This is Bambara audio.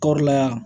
Kɔɔri la yan